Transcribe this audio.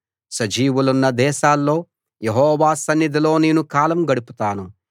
సజీవులున్న దేశాల్లో యెహోవా సన్నిధిలో నేను కాలం గడుపుతాను